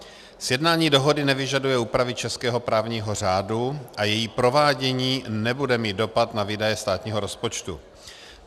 Sjednání dohody nevyžaduje úpravy českého právního řádu a její provádění nebude mít dopad na výdaje státního rozpočtu.